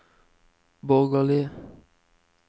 borgerlige